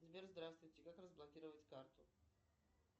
сбер здравствуйте как разблокировать карту